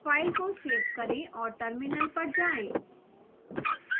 file को save करें और terminal पर जाएं